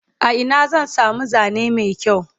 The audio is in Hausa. a Ina zan samu Zane Mai kyau?